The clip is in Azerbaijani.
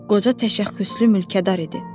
Qoca təşəkküslü mülkədar idi.